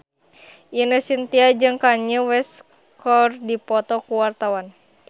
Ine Shintya jeung Kanye West keur dipoto ku wartawan